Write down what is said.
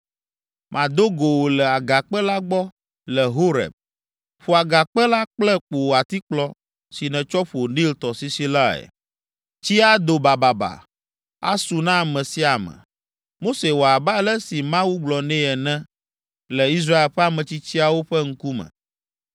Mado go wò le agakpe la gbɔ le Horeb. Ƒo agakpe la kple wò atikplɔ si nètsɔ ƒo Nil tɔsisi lae. Tsi ado bababa, asu na ame sia ame.” Mose wɔ abe ale si Mawu gblɔ nɛ ene le Israel ƒe ametsitsiawo ƒe ŋkume.